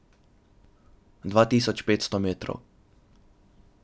Dva tisoč petsto metrov.